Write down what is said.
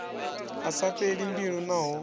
a sa fheli mbilu naho